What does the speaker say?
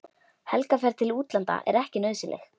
Helgarferð til útlanda er ekki nauðsynleg.